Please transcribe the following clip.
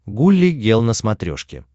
гулли гел на смотрешке